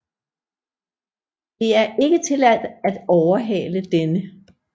Det er ikke tilladt at overhale denne